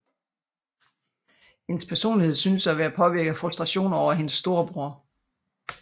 Hendes personlighed synes at være påvirket af frustrationer over hendes storebror